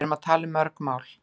Við erum að tala um mörg mál.